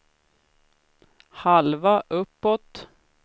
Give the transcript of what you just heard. halva uppåt